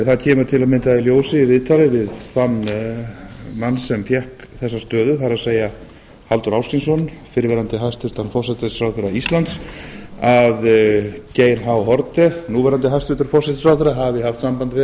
það kemur til að mynda í ljós í viðtali við þann mann sem fékk þessa stöðu það er halldór ásgrímsson fyrrverandi hæstvirtur forsætisráðherra íslands að geir h haarde núverandi hæstvirtan forsætisráðherra hafi haft samband við